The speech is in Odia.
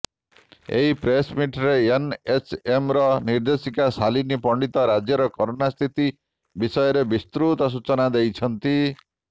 ଏହି ପ୍ରେସମିଟରେ ଏନଏଚଏମର ନିର୍ଦ୍ଦେଶିକା ଶାଲିନୀ ପଣ୍ଡିତ ରାଜ୍ୟରେ କରୋନା ସ୍ଥିତି ବିଷୟରେ ବିସୃତ ସୂଚନା ଦେଇଛନ୍ତି